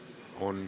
On.